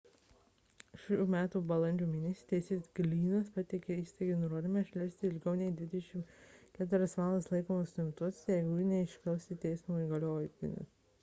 šių metų balandžio mėnesį teisėjas glynnas pateikė įstaigai nurodymą išleisti ilgiau nei 24 valandas laikomus suimtuosius jeigu jų neišklausė teismo įgaliotinis